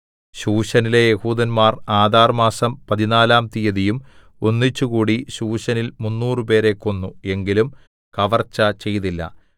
ശൂശനിലെ യെഹൂദന്മാർ ആദാർമാസം പതിനാലാം തീയതിയും ഒന്നിച്ചുകൂടി ശൂശനിൽ മുന്നൂറുപേരെ കൊന്നു എങ്കിലും കവർച്ച ചെയ്തില്ല